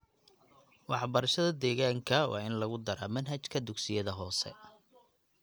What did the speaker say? Waxbarashada deegaanka waa in lagu daraa manhajka dugsiyada hoose.